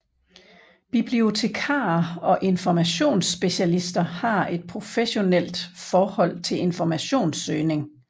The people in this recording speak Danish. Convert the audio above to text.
Bibliotekarer og informationsspecialister har et professionalt forhold til informationssøgning